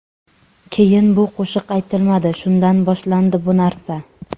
Keyin bu qo‘shiq aytilmadi, shundan boshlandi bu narsa.